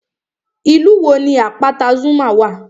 Ìlú wo ni àpáta Zuma wà?